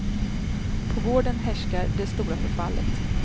På gården härskar det stora förfallet.